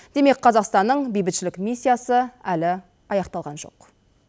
демек қазақстанның бейбітшілік миссиясы әлі аяқталған жоқ